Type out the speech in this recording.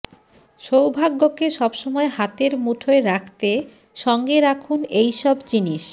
সৌভাগ্যকে সব সময় হাতের মুঠোয় রাখতে সঙ্গে রাখুন এই সব জিনিস